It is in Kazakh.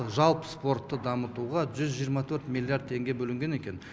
жалпы спортты дамытуға жүз жиырма төрт миллиард теңге бөлінген екен